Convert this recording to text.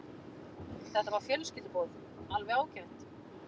Þetta var fjölskylduboð, alveg ágætt.